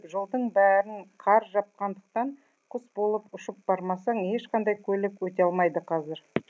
жолдың бәрін қар жапқандықтан құс болып ұшып бармасаң ешқандай көлік өте алмайды қазір